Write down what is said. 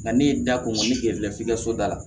Nka ne ye da ko ne gɛrɛla f'i ka so da la